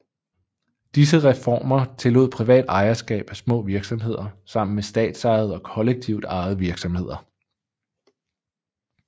Disse reformer tillod privat ejerskab af små virksomheder sammen med statsejede og kollektivt ejede virksomheder